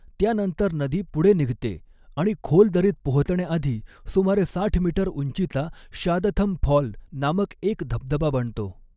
त्यानंतर नदी पुढे निघते आणि खोल दरीत पोहोचण्याआधी सुमारे साठ मीटर उंचीचा शादथम फॉल नामक एक धबधबा बनतो.